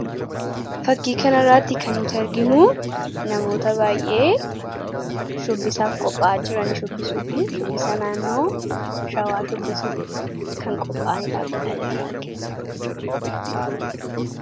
Fakkiin kun mul'isuu namoota walitti qabamuun shubbisaaf qopha'aa jiranii dha. Isaannis uffata Oromoo Shawwaa uffatanii shubbisaaf qopha'aa kan jiranii dha.